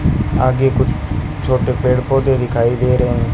आगे कुछ छोटे पेड़ पौधे दिखाई दे रहे हैं।